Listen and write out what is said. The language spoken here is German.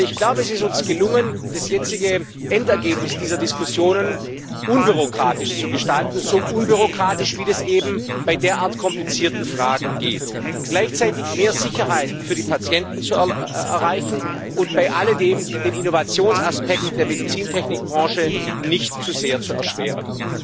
Aber es ist uns gelungen, das jetzige Endergebnis dieser Diskussionen unbürokratisch zu gestalten so unbürokratisch, wie das eben bei derart komplizierten Fragen geht gleichzeitig mehr Sicherheit für die Patienten zu erreichen und bei alledem den Innovationsaspekt der Medizintechnikbranche nicht zu sehr zu erschweren.